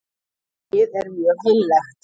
Hræið er mjög heillegt